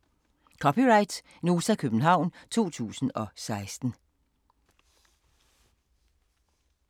(c) Nota, København 2016